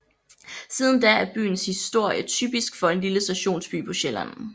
Siden da er byens historie typisk for en lille stationsby på Sjælland